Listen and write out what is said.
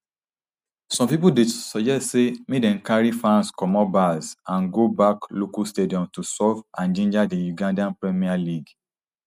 some pipo dey suggest say make dem carry fans comot bars and go back local stadiums to solve and ginger di ugandan premier league